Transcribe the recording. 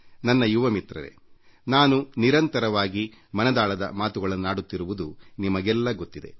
ನನ್ನ ಯುವ ಮಿತ್ರರೇ ನಾನು ನಿರಂತರವಾಗಿ ಮನ್ ಕಿ ಬಾತ್ ಮನದಾಳದ ಮಾತು ಕಾರ್ಯಕ್ರಮ ನೀಡುತ್ತಿರುವುದು ನಿಮಗೆಲ್ಲ ಗೊತ್ತಿದೆ